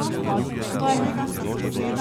Dajmo!